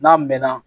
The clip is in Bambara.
N'a mɛnna